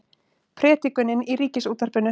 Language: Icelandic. Predikunin í Ríkisútvarpinu